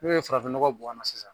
N'o ye farafin nɔgɔ bɔn a na sisan